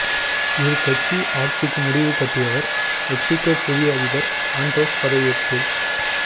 இரு கட்சி ஆட்சிக்கு முடிவு கட்டியவர் மெக்சிகோ புதிய அதிபர் ஆண்ட்ரேஸ் பதவியேற்பு